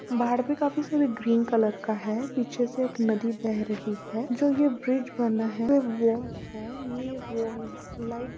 बाहर के काफी सीन ग्रीन कलर का है पीछे से एक नदी बह रही है जो ये ब्रिज बना है ]